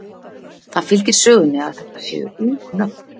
Það fylgir sögunni að þetta séu ung nöfn.